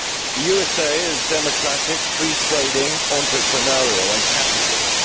The USA is democratic, free trading, entrepreneurial and capitalist